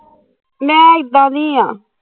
ਨਾ ਇੱਦਾਂ ਨੀ ਆ